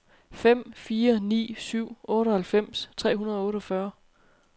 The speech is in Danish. fem fire ni syv otteoghalvfems tre hundrede og otteogfyrre